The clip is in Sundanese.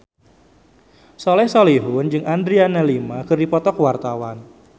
Soleh Solihun jeung Adriana Lima keur dipoto ku wartawan